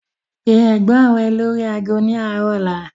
Pe Ẹ̀gbọ́n rẹ lórí ago ni arọ ọ̀la!